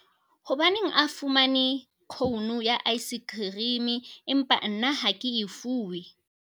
hobaneng a fumane khounu ya aesekherime empa nna ha ke e fuwe?